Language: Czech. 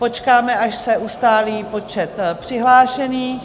Počkáme, až se ustálí počet přihlášených.